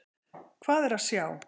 Hvað er að sjá!